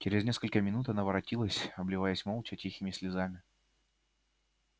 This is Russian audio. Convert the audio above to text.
через несколько минут она воротилась обливаясь молча тихими слезами